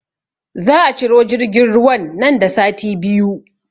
Za a ciro jirgin ruwan nan da sati biyu